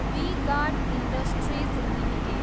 we guard industries limited